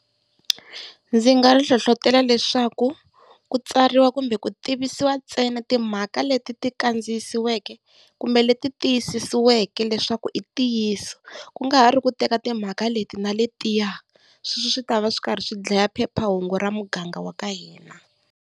Ndzi nga ri hlohlotelo leswaku ku tsariwa kumbe ku tivisiwa ntsena timhaka leti ti kandziyisiweke kumbe leti tiyisisiweke leswaku i ntiyiso. Ku nga ha ri ku teka timhaka leti na letiya, sweswo swi ta va swi karhi swi dlaya phephahungu ra muganga wa ka hina.